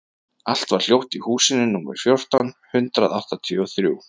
Allt var hljótt í húsinu númer fjórtán hundruð áttatíu og þrjú.